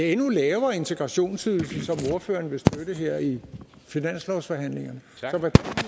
endnu lavere integrationsydelse som ordføreren vil støtte her i finanslovsforhandlingerne